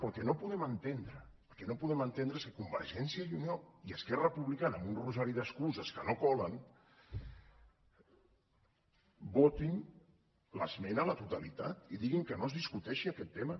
però el que no podem entendre és que convergència i unió i esquerra republicana amb un rosari d’excuses que no colen votin l’esmena a la totalitat i diguin que no es discuteixi aquest tema